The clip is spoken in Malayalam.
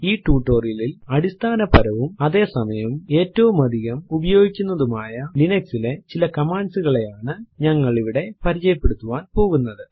ഈ ടുട്ടോറിയലിലിൽ അടിസ്ഥാനപരവും അതെ സമയം ഏറ്റവും അധികം ഉപയോഗിക്കുന്നതുമായ ലിനക്സ് ലെ ചില കമാൻഡ്സ് കളെയാണ് ഞങ്ങൾ ഇവിടെ പരിചയപ്പെടുത്താൻ പോകുന്നത്